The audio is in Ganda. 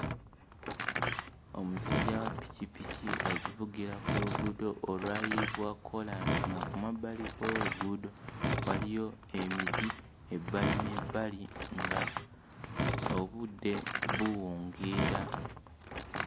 Omusajja wa ppikippiki agivugira ku luguudo olwayiibwa kkoolansi nga ku mabbali g'oluguudo waliyo emiti ebbali n'ebbali nga obudde buwungeera.